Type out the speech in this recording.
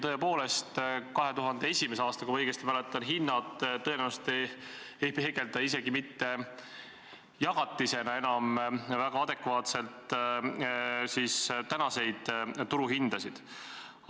Tõepoolest, 2001. aasta hinnad, kui ma õigesti mäletan, tõenäoliselt ei peegelda isegi mitte jagatisena enam adekvaatselt tänaseid turuhindasid.